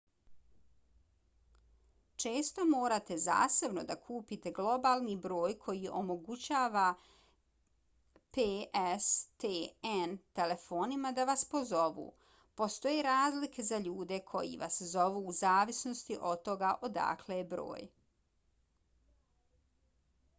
često morate zasebno da kupite globalni broj koji omogućava pstn telefonima da vas pozovu. postoje razlike za ljude koji vas zovu u zavisnosti od toga odakle je broj